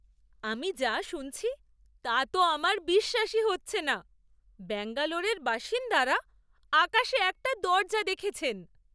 আমি যা শুনছি তা তো আমার বিশ্বাসই হচ্ছে না! ব্যাঙ্গালোরের বাসিন্দারা আকাশে একটা দরজা দেখেছেন!